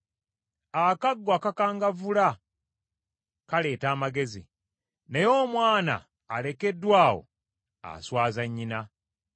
Akaggo akakangavvula, kaleeta amagezi, naye omwana alekeddwa awo, aswaza nnyina.